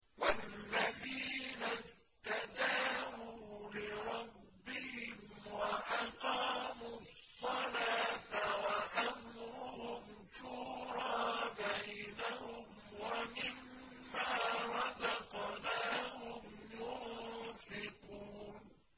وَالَّذِينَ اسْتَجَابُوا لِرَبِّهِمْ وَأَقَامُوا الصَّلَاةَ وَأَمْرُهُمْ شُورَىٰ بَيْنَهُمْ وَمِمَّا رَزَقْنَاهُمْ يُنفِقُونَ